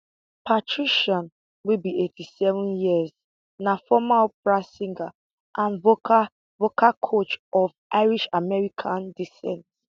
patricia wey be 87 years na former opera singer and vocal vocal coach of irishamerican descent